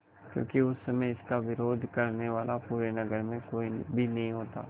क्योंकि उस समय इसका विरोध करने वाला पूरे नगर में कोई भी नहीं होता